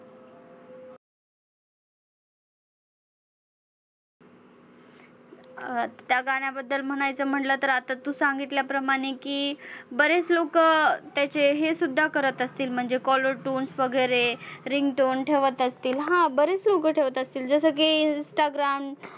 अं त्या गाण्याबद्दल म्हणायचं म्हंटलं तर आता तू सांगितल्याप्रमाणे की बरेच लोकं त्याचे हे सुद्धा करत असतील म्हणजे caller tunes वगैरे, ringtone ठेवत असतील, हा बरेच लोकं ठेवत असतील जसं की instagram